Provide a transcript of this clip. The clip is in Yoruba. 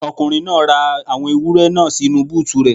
Ọkùnrin náà ra àwọn ewúrẹ́ náà sínu búùtù rẹ̀.